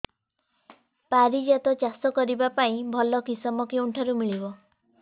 ପାରିଜାତ ଚାଷ କରିବା ପାଇଁ ଭଲ କିଶମ କେଉଁଠାରୁ ମିଳିବ